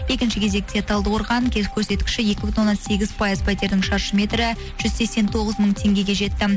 екінші кезекте талдықорған көрсеткіші екі бүтін оннан сегіз пайыз пәтердің шаршы метрі жүз сексен тоғыз мың теңгеге жетті